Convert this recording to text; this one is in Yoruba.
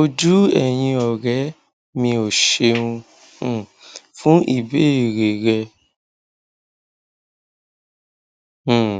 ojú ẹyìnọrẹ mio ṣeun um fún ìbéèrè rẹ um